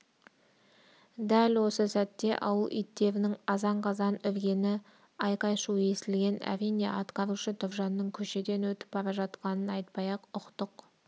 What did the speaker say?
дәл осы сәтте ауыл иттерінің азан-қазан үргені айқай-шу естілген әрине атқарушы тұржанның көшеден өтіп бара жатқанын айтпай-ақ ұқтық